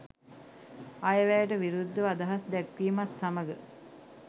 අයවැයට විරුද්ධව අදහස් දැක්වීමත් සමග